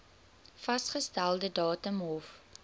vasgestelde datum hof